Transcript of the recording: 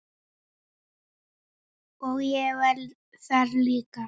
Og ég var það líka.